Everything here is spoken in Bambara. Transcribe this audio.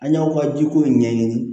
An y'aw ka jiko in ɲɛɲini